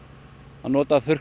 að nota þurrkdagana